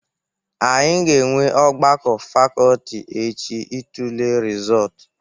Anyị ga-enwe ọgbakọ fakọlti echi itule rịzọtụ.